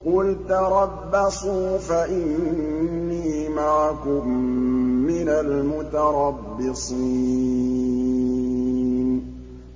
قُلْ تَرَبَّصُوا فَإِنِّي مَعَكُم مِّنَ الْمُتَرَبِّصِينَ